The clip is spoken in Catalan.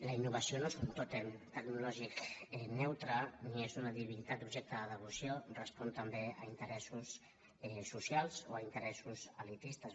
la innovació no és un tòtem tecnològic neutre ni és una divinitat objecte de devoció respon també a interessos socials o a interessos elitistes